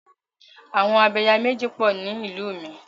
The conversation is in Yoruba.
Àwọn Abẹ̀yàméjì pọ̀ ni ìlú mi.